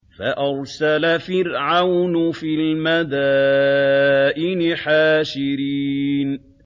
فَأَرْسَلَ فِرْعَوْنُ فِي الْمَدَائِنِ حَاشِرِينَ